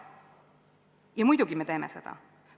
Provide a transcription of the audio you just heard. Ja muidugi me teeme seda.